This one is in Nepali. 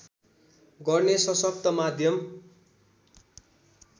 गर्ने सशक्त माध्यम